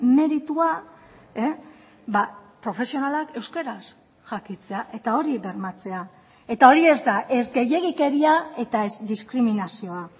meritua profesionalak euskaraz jakitea eta hori bermatzea eta hori ez da ez gehiegikeria eta ez diskriminazioa